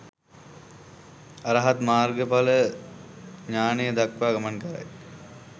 අරහත් මාර්ග ඵල ඥානය දක්වා ගමන් කරයි.